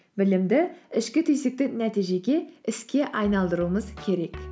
білімді ішкі түйсікті нәтижеге іске айналдыруымыз керек